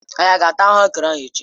Anyi ga-ata ahuekere echi?